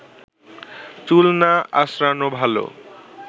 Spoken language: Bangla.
চুল না আঁচড়ানো ভালো